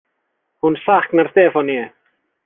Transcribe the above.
Hún saknar Stefaníu.